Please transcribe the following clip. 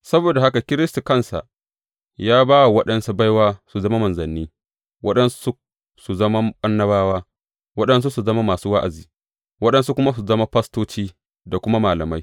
Saboda haka Kiristi kansa ya ba wa waɗansu baiwa su zama manzanni, waɗansu su zama annabawa, waɗansu su zama masu wa’azi, waɗansu kuma su zama fastoci, da kuma malamai.